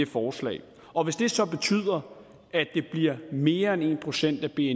forslag og hvis det så betyder at det bliver mere end en procent af bni er